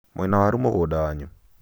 mwĩ na waru mũgũnda wanyu